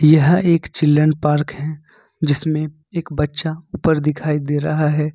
यह एक children park है जिसमें एक बच्चा ऊपर दिखाई दे रहा है।